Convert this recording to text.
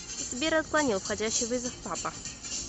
сбер отклонил входящий вызов папа